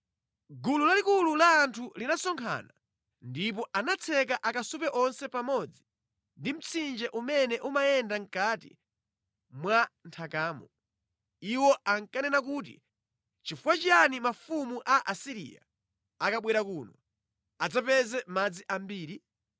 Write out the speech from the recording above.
Gulu lalikulu la anthu linasonkhana, ndipo anatseka akasupe onse pamodzi ndi mtsinje umene umayenda mʼkati mwa nthakamo. Iwo ankanena kuti, “Nʼchifukwa chiyani mafumu a Asiriya akabwera kuno adzapeze madzi ambiri?”